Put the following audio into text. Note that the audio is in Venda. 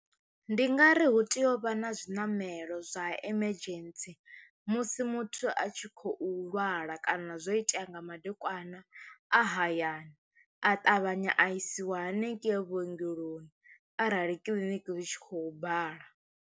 Ndi nga ri hu tea u vha na zwiṋamelo zwa emergency musi muthu a tshi khou lwala kana zwo itea nga madekwana a hayani a ṱavhanya a isiwa haningei vhuongeloni arali kiḽiniki hu tshi khou bala.